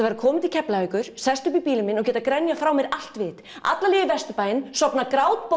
vera komin til Keflavíkur sest upp í bílinn minn og geta grenjað frá mér allt vit alla leið í Vesturbæinn sofnað